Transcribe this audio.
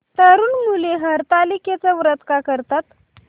तरुण मुली हरतालिकेचं व्रत का करतात